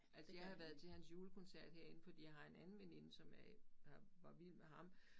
Altså jeg har været til hans julekoncert herinde fordi jeg har en anden veninde som er har var vild med ham